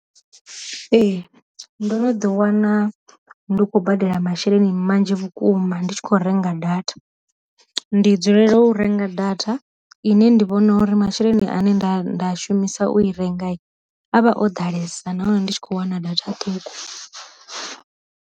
Ee ndo no ḓi wana ndi khou badela masheleni manzhi vhukuma ndi tshi kho renga data, ndi dzulela u renga data ine ndi vhona uri masheleni ane nda nda shumisa u i renga a vha o ḓalesa na hone ndi tshi kho wana data ṱhukhu.